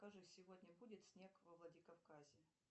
скажи сегодня будет снег во владикавказе